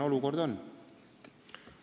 Olukord on praegu selline.